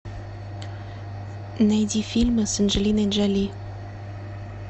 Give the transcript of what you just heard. найди фильмы с анджелиной джоли